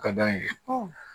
A ka d'an ye